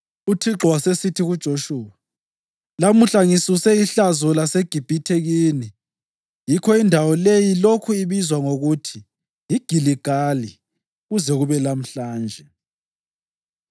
UThixo wasesithi kuJoshuwa, “Lamuhla ngisuse ihlazo laseGibhithe kini.” Yikho indawo leyo lokhu ibizwa ngokuthi yiGiligali kuze kube lamhlanje.